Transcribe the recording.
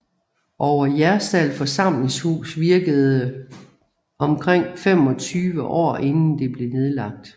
Over Jerstal Forsamlingshus virkede omkring 25 år inden det blev nedlagt